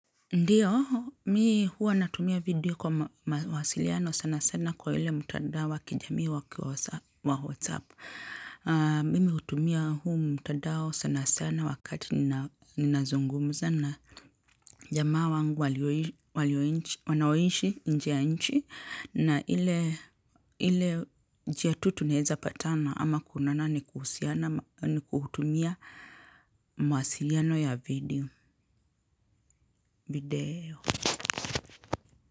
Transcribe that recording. Ndiyo, mi hua natumia video kwa mawasiliano sana sana kwa ile mtandao wakijami wa kiowasapu. Mimi hutumia huu mtandao sana sana wakati nina zungumuza na jamaa wangu wanaoishi nje yanchi. Na ile njiatu tuneza patana ama kunana ni kuhutumia mawasiliano ya video.